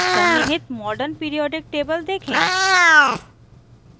सन्निहित modern periodic table देखें